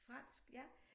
Fransk ja